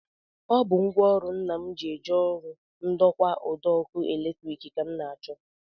Ọ bụ ngwaọrụ Nna m ji eje ọrụ ndokwa ụdọọkụ latrik ka m na-achọ